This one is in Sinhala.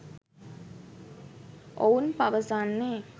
ඔවුන් පවසන්නේ